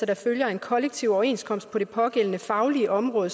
der følger af en kollektiv overenskomst på det pågældende faglige område